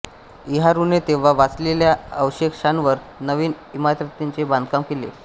इहारूने तेव्हा वाचलेल्या अवशेषांवर नविन इमारतींचे बांधकाम केले